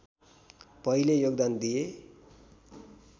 पहिले योगदान दिए